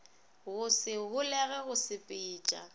go se holege go sepetša